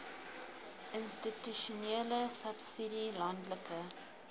institusionele subsidie landelike